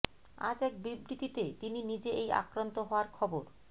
আজ এক বিবৃতিতে তিনি নিজে এই আক্রান্ত হওয়ার খবর